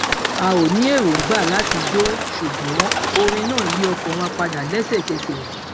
a ò ní erongba láti jó ṣùgbọn orin náà yí ọkàn wa padà léṣekẹsẹ